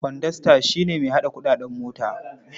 Kwandasta shi ne mai haɗa kuɗin mota.